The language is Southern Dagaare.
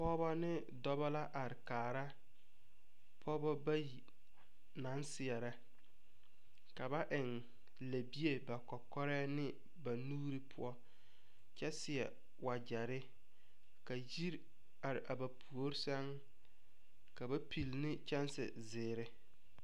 Pɔgɔbɔ ne dɔbɔ la are kaara pɔgɔbɔ bayi na seɛrɛ. Ka ba eŋ lɛbie ba kokoreɛ ne ba nuure poʊ kyɛ seɛ wagyere. Ka yir are a ba poore sɛŋ ka ba pile ne kyensi ziire.